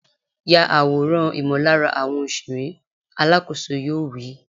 Ya àwòrán ìmọ̀lára àwọn òṣèré! Alákòóso yoo wí.